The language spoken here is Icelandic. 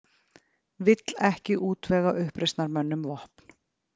Vill ekki útvega uppreisnarmönnum vopn